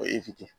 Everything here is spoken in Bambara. O